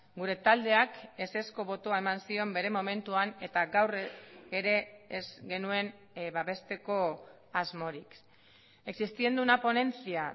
gure taldeak ezezko botoa eman zion bere momentuan eta gaur ere ez genuen babesteko asmorik existiendo una ponencia